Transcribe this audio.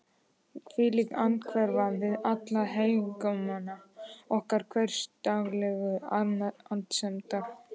hvílík andhverfa við allan hégóma okkar hversdagslegu annsemdar!